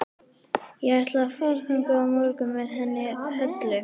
Ég ætla að fara þangað á morgun með henni Höllu.